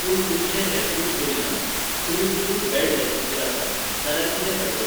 पूण तुमचे हॅल्थूच बरी ना, तुमी फूल बॅड रेस्टीचेर आसा, जाल्यार कितें फायदो?